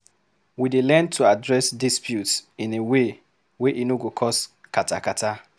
We dey learn to address disputes in way wey e no go cause katakata.